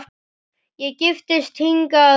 Ég giftist hingað ung